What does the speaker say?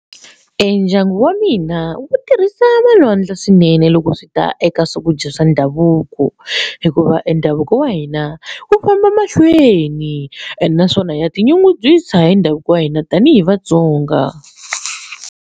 Ndyangu wa mina wu tirhisa va lwandle swinene loko swi ta eka swakudya swa ndhavuko hikuva e ndhavuko wa hina wu famba mahlweni ene naswona ya tinyungubyisa hi ndhavuko wa hina tanihi vaTsonga